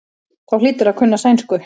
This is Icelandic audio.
Þá hlýturðu að kunna sænsku.